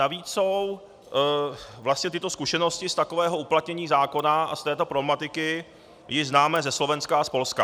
Navíc jsou vlastně tyto zkušenosti z takového uplatnění zákona a z této problematiky již známé ze Slovenska a z Polska.